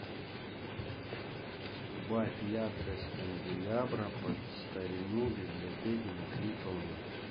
убавь яркость канделябра под старину в библиотеке на три тона